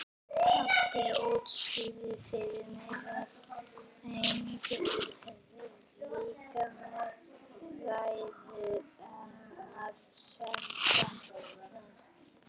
Pabbi útskýrði fyrir mér að áhangendur liðanna væru að syngja.